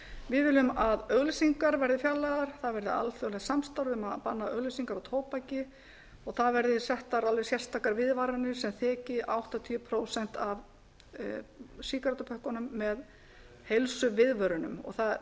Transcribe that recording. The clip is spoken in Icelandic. við viljum að auglýsingar verði fjarlægðar það verði alþjóðlegt samstarf um að banna auglýsingar á tóbaki og það verði settar alveg sérstakar viðvaranir sem þeki áttatíu prósent af sígarettupökkunum með heilsuviðvörunum og